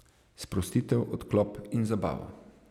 Sprostitev, odklop in zabavo.